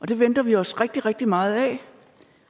det venter vi os rigtig rigtig meget af